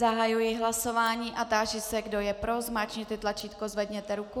Zahajuji hlasování a táži se, kdo je pro, zmáčkněte tlačítko, zvedněte ruku.